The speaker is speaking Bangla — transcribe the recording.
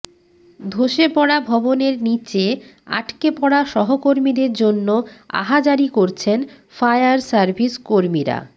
ধসে পড়া ভবনের নীচে আটকে পড়া সহকর্মীদের জন্য আহাজারি করছেন ফায়ার সার্ভিস কর্মীরা